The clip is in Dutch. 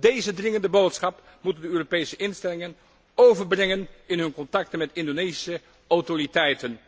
Deze dringende boodschap moeten de Europese instellingen overbrengen in hun contacten met de Indonesische autoriteiten,